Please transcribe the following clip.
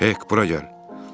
"Hek, bura gəl.